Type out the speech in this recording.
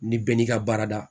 Ni bɛɛ n'i ka baarada